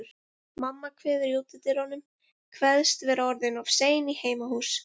Mamma kveður í útidyrunum, kveðst vera orðin of sein í heimahús.